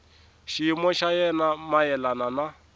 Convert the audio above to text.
xiyimo xa yena mayelana na